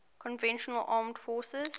conventional armed forces